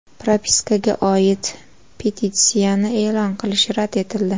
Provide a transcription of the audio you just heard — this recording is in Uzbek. Propiskaga oid petitsiyani e’lon qilish rad etildi.